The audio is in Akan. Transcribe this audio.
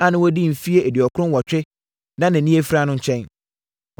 a na wadi mfeɛ aduɔkron nwɔtwe na nʼani afira no nkyɛn.